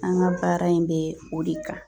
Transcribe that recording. An ka baara in bɛ o de kan